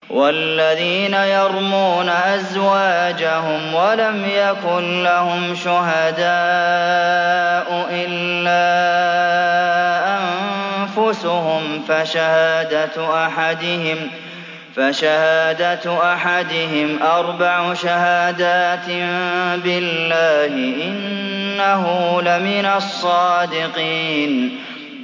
وَالَّذِينَ يَرْمُونَ أَزْوَاجَهُمْ وَلَمْ يَكُن لَّهُمْ شُهَدَاءُ إِلَّا أَنفُسُهُمْ فَشَهَادَةُ أَحَدِهِمْ أَرْبَعُ شَهَادَاتٍ بِاللَّهِ ۙ إِنَّهُ لَمِنَ الصَّادِقِينَ